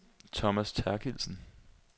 Thomas Therkildsen